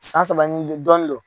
An saba ninn dɔɔni don.